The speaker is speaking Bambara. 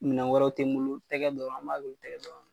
Minɛn wɛrɛw tɛ n bolo, tɛgɛ dɔrɔn an b'a kɛ o tɛgɛ dɔrɔnw la.